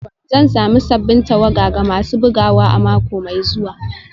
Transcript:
Zan sami sabbin tawada ga masu bugawa a mako mai zuwa